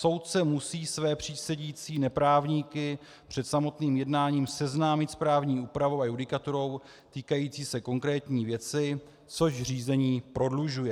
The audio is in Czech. Soudce musí své přísedící neprávníky před samotným jednáním seznámit s právní úpravou a judikaturou týkající se konkrétní věci, což řízení prodlužuje.